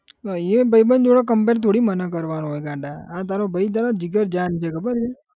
હવે અહીંયાના ભાઈબંધ જોડે compare થોડી મને કરવાનો હોય ગાંડા આ તારો ભાઈ તારો જીગરજાન છે ખબર છે